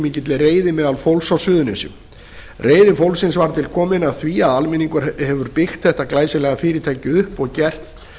mikilli reiði meðal fólks á suðurnesjum reiði fólksins var til komin af því að almenningur hefur byggt þetta glæsilega fyrirtæki upp og gert